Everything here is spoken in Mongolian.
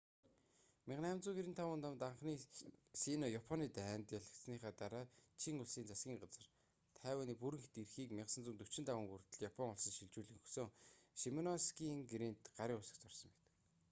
1895 онд анхны сино-японы дайнд 1894-1895 ялагдсаныхаа дараа чин улсын засгийн газар тайваны бүрэн эрхийг 1945 он хүртэл япон улсад шилжүүлэн өгсөн шимоносекигийн гэрээнд гарын үсэг зурсан байдаг